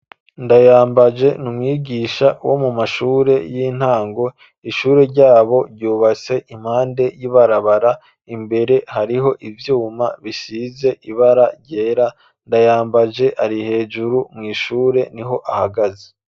Ndayambaje ni umwigisha wo mu mashure y'intango ishure ryabo ryubatse impande y'ibarabara imbere hariho ivyuma bisize ibara ryera Ndayambaje ari hejuru mu ishure niho ahagaze.